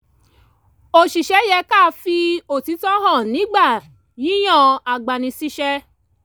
oṣìṣẹ́ yẹ ká fi òtítọ́ hàn nígbà yíyan agbani-síṣẹ́